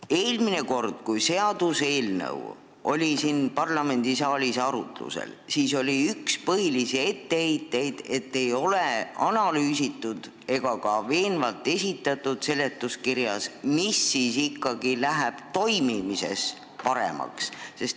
Eelmine kord, kui seaduseelnõu oli siin parlamendisaalis arutlusel, oli üks põhilisi etteheiteid, et ei ole analüüsitud ega ka seletuskirjas veenvalt esitatud, mis siis ikkagi läheb asutuse toimimises paremaks.